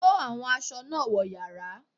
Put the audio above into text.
Kó àwọn aṣọ náà wọ yàrá!